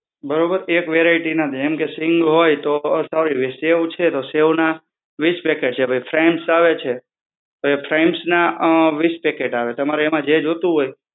બરોબર? એક variety ના. જેમ કે સીંગ હોય તો સોરી શેવ છે તો સેવ ના વિસ packets છે. ફ્રાયમ્સ આવે છે તો એ ફ્રાયમ્સ ના અ વિસ packet આવે. તમારે એમાં જો જોતું હોય